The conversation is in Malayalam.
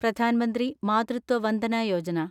പ്രധാൻ മന്ത്രി മാതൃത്വ വന്ദന യോജന